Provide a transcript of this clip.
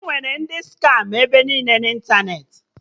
Enwere ndị skama ebe niile na ịntanetị